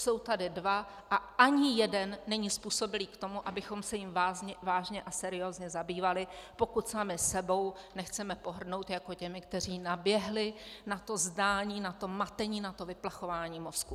Jsou tady dva a ani jeden není způsobilý k tomu, abychom se jím vážně a seriózně zabývali, pokud sami sebou nechceme pohrdnout, jako těmi, kteří naběhli na to zdání, na to matení, na to vyplachování mozků.